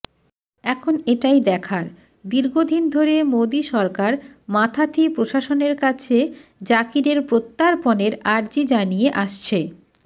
এখন এটাই দেখার দীর্ঘদিন ধরে মোদী সরকার মাথাথি প্রশাসনের কাছে জাকিরের প্রত্যার্পণের আর্জি জানিয়ে আসছে